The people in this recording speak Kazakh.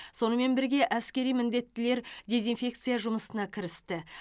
сонымен бірге әскери міндеттілер дезинфекция жұмысына кірісті